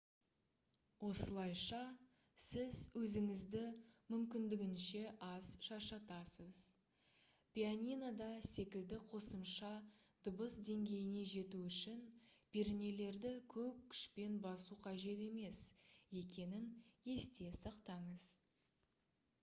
осылайша сіз өзіңізді мүмкіндігінше аз шаршатасыз пианинода секілді қосымша дыбыс деңгейіне жету үшін пернелерді көп күшпен басу қажет емес екенін есте сақтаңыз